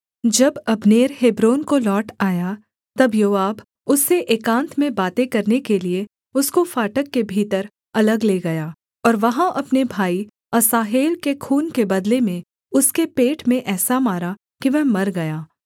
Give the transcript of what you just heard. जब Abner Hebron को लौट आया तब योआब उससे एकान्त में बातें करने के लिये उसको फाटक के भीतर अलग ले गया और वहाँ अपने भाई असाहेल के खून के बदले में उसके पेट में ऐसा मारा कि वह मर गया